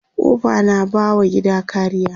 kofa na ba wa gida kariya